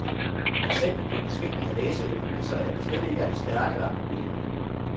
Eksemplet med den svigtende læseevne viser, at det slet ikke er de stærke, der er problemet.